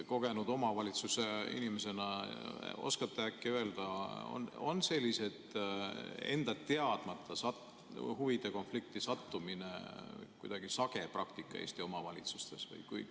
Kogenud omavalitsusinimesena oskate äkki öelda, kas enda teadmata huvide konflikti sattumine on kuidagi sage praktika Eesti omavalitsustes?